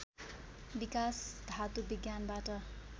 विकास धातु विज्ञानबाट